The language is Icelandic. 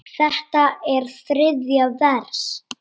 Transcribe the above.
Þetta er þriðja vers.